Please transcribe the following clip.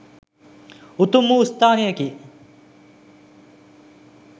උතුම් වූ ස්ථානයකි.